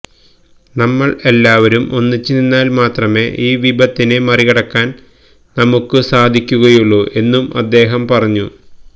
നമ്മള് എല്ലാവരും ഒന്നിച്ച് നിന്നാല് മാത്രമേ ഈ വിപത്തിനെ മറികടക്കാന് നമ്മക്ക് സാധിക്കുകയുള്ളൂ എന്നും അദ്ദേഹം പറഞ്ഞു